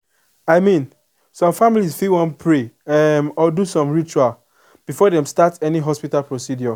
i mean some families fit wan pray umm or do some ritual before dem start any hospital procedure